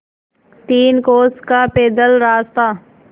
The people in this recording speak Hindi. तीन कोस का पैदल रास्ता